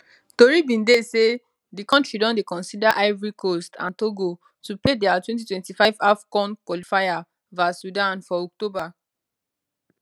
tori bin dey say di kontri don dey consider ivory coast and togo to play dia 2025 afcon qualifier vs sudan for october